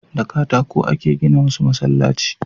Da katako a ke gina wasu masallaci